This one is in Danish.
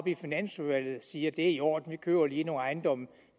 i finansudvalget bare siger det er i orden vi køber lige nogle ejendomme